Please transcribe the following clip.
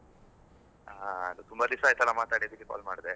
ಹಾ ಅದು ತುಂಬಾ ದಿವ್ಸ ಅಯ್ತಲ್ಲ ಮಾತಾಡಿ, ಅದ್ಕೆ call ಮಾಡ್ದೆ.